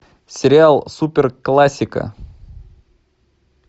сериал супер классика